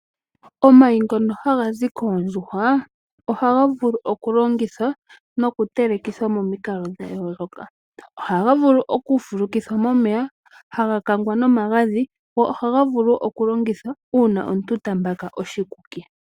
Omayi ngono haga zi koondjuhwa, ohaga vulu oku longithwa noku telekithwa momikalo dha yooloka. Ohaga vulu oku fulukithwa momeya, haga kangwa nomagadhi, go ohaga vulu oku longithwa una omuntu ta mbaka oshikuki.